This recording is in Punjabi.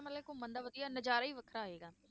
ਮਤਲਬ ਘੁੰਮਣ ਦਾ ਵਧੀਆ ਨਜ਼ਾਰਾ ਹੀ ਵੱਖਰਾ ਆਏਗਾ।